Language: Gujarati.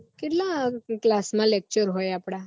કેટલા class માં lecture હોય આપડા